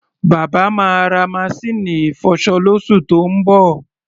Bàbá máa ra maṣíìnì ìfọṣọ lóṣù tó ń bọ̀.